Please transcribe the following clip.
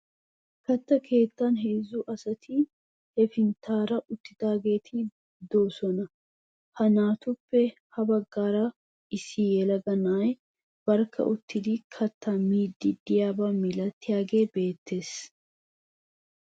Katta keettan heezzu asati hefinttan uttidaageeti de'oosona. Ha naatuppe ha baggaara issi yelaga na'ay barkka uttidi kattaa miiddi de'iyaba milatiyagee beettees.